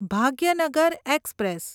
Bhagyanagar express